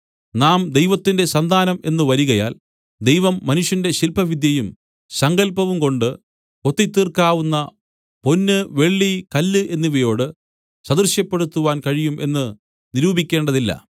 നാം ദൈവത്തിന്റെ സന്താനം എന്ന് വരികയാൽ ദൈവം മനുഷ്യന്റെ ശില്പവിദ്യയും സങ്കല്പവുംകൊണ്ട് കൊത്തിത്തീർക്കാവുന്ന പൊന്ന് വെള്ളി കല്ല് എന്നിവയോട് സദൃശപ്പെടുത്തുവാൻ കഴിയും എന്ന് നിരൂപിക്കേണ്ടതില്ല